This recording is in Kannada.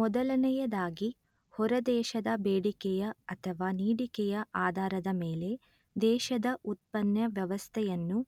ಮೊದಲನೆಯದಾಗಿ ಹೊರದೇಶದ ಬೇಡಿಕೆಯ ಅಥವಾ ನೀಡಿಕೆಯ ಆಧಾರದ ಮೇಲೆ ದೇಶದ ಉತ್ಪನ್ನ ವ್ಯವಸ್ಥೆಯನ್ನು